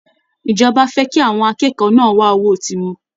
Ìjọba fẹ́ kí àwọn akẹ́kọ̀ọ́ náà wá owó tiwọn